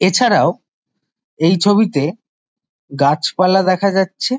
এছাড়াও এই ছবিতে গাছপালা দেখা যাচ্ছে।